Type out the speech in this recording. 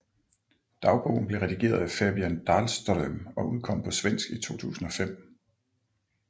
Dagbogen blev redigeret af Fabian Dahlström og udkom på svensk i 2005